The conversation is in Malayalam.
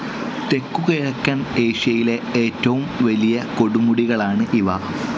തെക്കുകിഴക്കൻ ഏഷ്യയിലെ ഏറ്റവും വലിയ കൊടുമുടികളാണ് ഇവ.